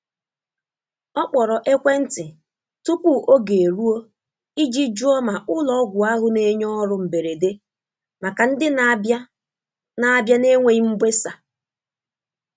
Ọ kpọrọ ekwentị tupu oge eruo iji jụọ ma ụlọ ọgwụ ahụ na-enye ọrụ mberede maka ndi n'abia n'abia na-enweghi mgbesa